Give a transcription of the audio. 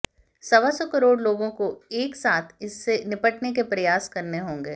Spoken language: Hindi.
सवा सौ करोड़ लोगों को एक साथ इससे निपटने के प्रयास करने होंगे